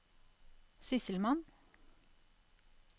sysselmann